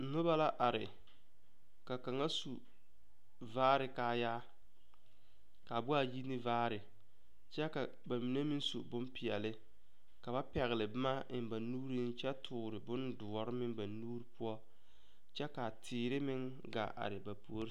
Noba la are ka kaŋa su vaare kaayaa ka a boɔra ka a yi ne vaare kyɛ ka ba mine meŋ su bonpeɛlle ka ba pɛgle boma eŋ ba nuureŋ kyɛ toore bondoɔre meŋ ba nuure poɔ kyɛ ka a teere meŋ gaa are ba puori.